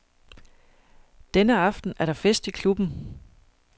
Denne aften er der fest i klubben.